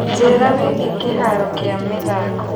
njĩira wĩigie kĩharo kia mĩthako